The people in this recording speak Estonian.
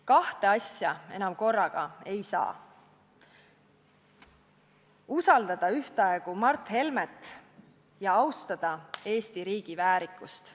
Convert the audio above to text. Kahte asja korraga enam ei saa, ei saa usaldada ühtaegu Mart Helmet ja austada Eesti riigi väärikust.